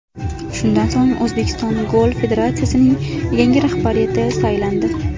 Shundan so‘ng, O‘zbekiston Golf federatsiyasining yangi rahbariyati saylandi.